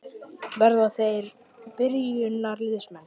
Verða þeir byrjunarliðsmenn?